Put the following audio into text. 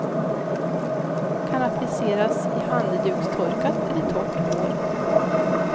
Kan appliceras i handdukstorkat eller torrt hår.